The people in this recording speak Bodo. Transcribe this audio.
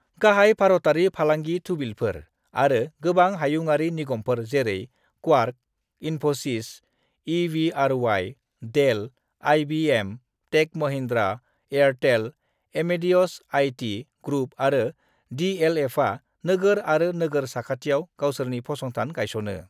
गाहाय भारतयारि फालांगि थुबिलफोर आरो गोबां हायुंयारि निगमफोर जेरै Quark, Infosys, EVRY, Dell, IBM, Tech Mahindra, Airtel, Amadeus IT group आरो डीएलएफआ नोगोर आरो नोगोर साखाथियाव गावसोरनि फसंथान गायस'नो ।